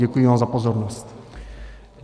Děkuji vám za pozornost.